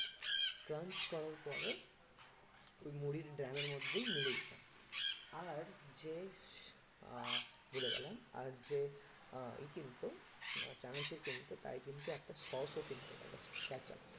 crunch করার পরে ওই মুড়ির ড্রামের মধ্যেই মিলিয়ে দিতাম আবার যে আহ ভুলে গেলাম আর যে আহ ওই কিনতো চানাচুর কিনতো তাকে কিন্তু একটা sauce ও কিনতো ketchup